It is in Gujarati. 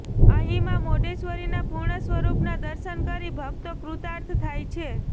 અહિં મા મોઢેશ્વરીના પૂર્ણ સ્વરુપના દર્શન કરી ભક્તો કૃતાર્થ થાય છે